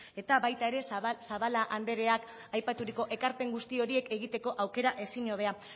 eta baita ere zabala andereak aipaturiko ekarpen guzti horiek egiteko aukera ezinhobea